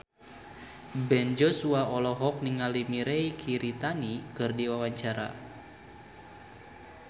Ben Joshua olohok ningali Mirei Kiritani keur diwawancara